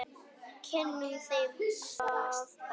Kynnum þeim það bara.